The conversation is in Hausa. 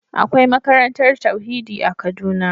Akwai makarantar tauhidi a kaduna.